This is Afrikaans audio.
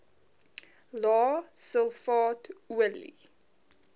lae sulfaat olie